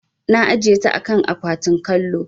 Na ajiye a kan akwatin kallo.